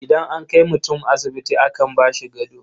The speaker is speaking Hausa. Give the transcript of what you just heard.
Idan an kai mutum asibiti akan ba shi gado.